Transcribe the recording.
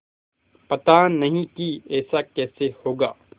पता नहीं कि ऐसा कैसे होगा